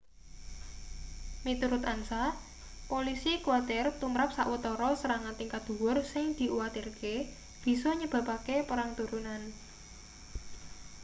miturut ansa polisi kuwatir tumrap sawetara serangan tingkat dhuwur sing diuwatirke bisa nyebabake perang turunan